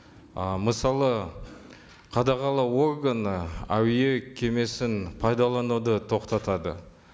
ы мысалы қадағалау органы әуе кемесін пайдалануды тоқтатады